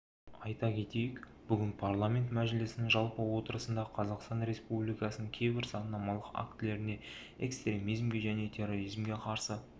айта кетейік бүгін парламенті мәжілісінің жалпы отырысында қазақстан республикасының кейбір заңнамалық актілеріне экстремизмге және терроризмге қарсы